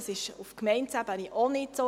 Dies ist auf Gemeindeebene auch nicht so.